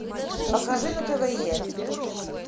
покажи на тв е